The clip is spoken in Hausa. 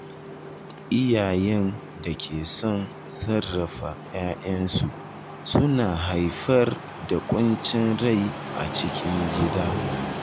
Iyayen da ke son sarrafa ‘ya’yansu suna haifar da ƙuncin rai a cikin gida.